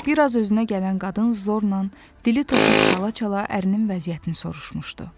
Bir az özünə gələn qadın zorla, dili topuq çala-çala ərinin vəziyyətini soruşmuşdu.